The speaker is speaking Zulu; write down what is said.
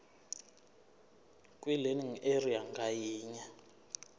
kwilearning area ngayinye